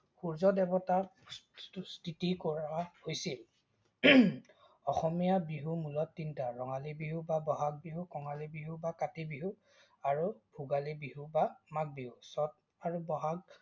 সূৰ্য্যদেৱতাক তুস্তিতি কৰা হৈছিল। অসমীয়া বিহু মূলত তিনটা -ৰঙালী বিহু বা বহাগ বিহু, কঙালী বিহু বা কাতি বিহু, আৰু ভোগালী বিহু বা মাঘ বিহু। চত আৰু বহাগ